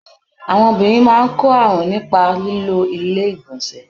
Àwọn obìnrin máa ń kọ́ àrùn nípa lílo ilé ìgbọ̀nsẹ̀.